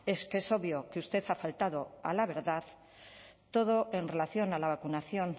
es que es obvio que usted ha faltado a la verdad todo en relación a la vacunación